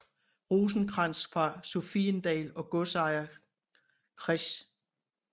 Rosenkrantz fra Sophiendal og godsejer Chr